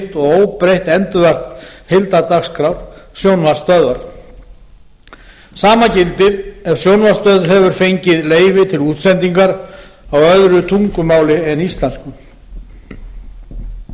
og óbreytt endurvarp heildardagskrár sjónvarpsstöðvar sama gildir ef sjónvarpsstöð hefur fengið leyfi til útsendingar á öðru tungumáli en